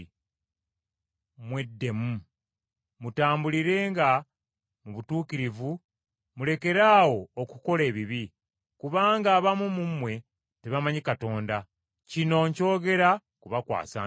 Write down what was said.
Mweddemu, mutambulirenga mu butuukirivu mulekeraawo okukola ebibi, kubanga abamu mu mmwe tebamanyi Katonda. Kino nkyogera kubakwasa nsonyi.